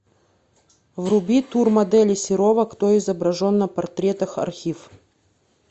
вруби тур модели серова кто изображен на портретах архив